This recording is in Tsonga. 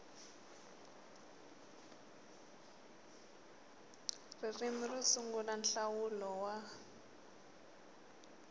ririmi ro sungula nhlawulo wa